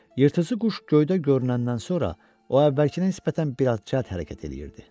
Yırtıcı quş göydə görünəndən sonra o əvvəlkinə nisbətən bir az cəld hərəkət eləyirdi.